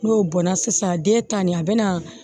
N'o bɔnna sisan den ta nin a bɛ na